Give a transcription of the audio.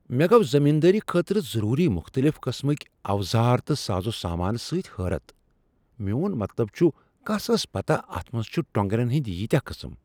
مےٚ گوٚو زمیندٲری خٲطرٕ ضروری مختلف قسمٕکۍ اوزار تہٕ سازو سامان سۭتۍ حٲرت۔ میون مطلب چُھ کَس ٲس پتاہ اتھ منز چُھ ٹوٚنگرین ہندۍ ییٖتیاہ قٕسٕم۔